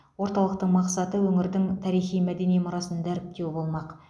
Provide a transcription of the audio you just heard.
орталықтың мақсаты өңірдің тарихи мәдени мұрасын дәріптеу болмақ